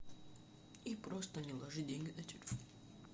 и просто не ложи деньги на телефон